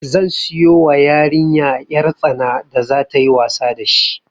Zan siyo wa yariya 'yar tsana da za tayi wasa da shi